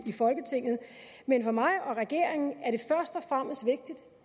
i folketinget men for mig og regeringen